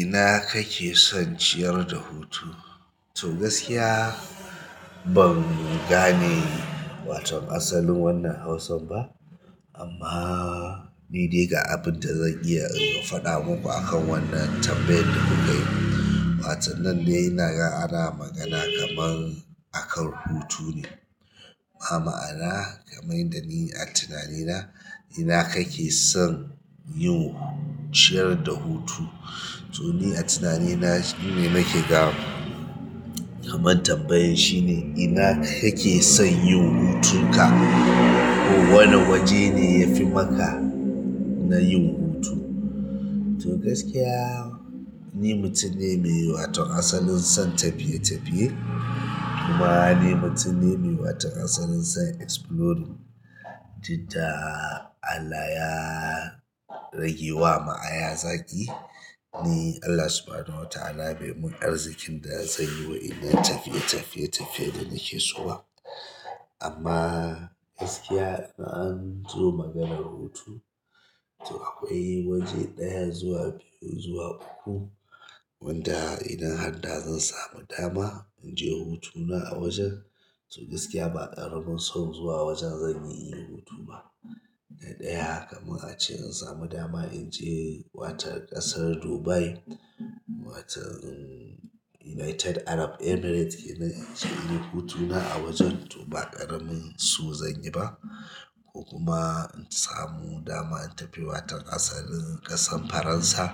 Ina kake son ciyar da hutu? To gaskiya ban gane wato asalin wannan Hausan ba amma ni dai ga abun da zan iya in faɗa muku akan wannan tambayan da kuka yi. Watan nan dai ina ga ana magana kaman akan hutu ne. A ma'ana kaman yadda ni a tunanina, ina kake son yin ciyar da hutu? To ni a tunanina shine nake ga kaman tambayan shine ina kake son yin hutun ka ko wane waje ne yafi maka na yin hutu. To gaskiya ni mutum ne mai waton asalin son tafiye tafiye kuma ni mutum ne mai waton asalin son exploring, jidda Allah ya rage wa ma aya zaki, ni Allah Subhanahu wa ta'ala bai mun arzikin da zan yi wa'innan tafiye tafiye tafiye da nake so ba. Amma gaskiya in an zo maganar hutu, to akwai waje ɗaya zuwa biyu zuwa uku wanda ina handa zan samu dama in je hutuna a wajen. To gaskiya ba ƙaramin son zuwa wajen zanyi in yi hutu ba. Na ɗaya kamar ace in samu dama in je watan ƙasar Dubai, watan United Arab Emirates kenan in je in yi hutuna a wajen to ba ƙaramin so zan yi ba. Ko kuma in samu dama in tafi watan ƙasar ƙasan Faransa,